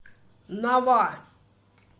нава